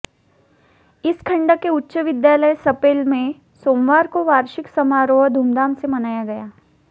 इस खंड के उच्च विद्यालय सपेल में सोमवार को वार्षिक समारोह धूमधाम से मनाया गया